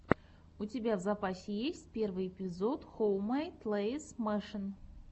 у тебя в запасе есть первый эпизод хоуммэйд лэйз мэшин